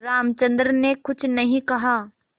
रामचंद्र ने कुछ नहीं कहा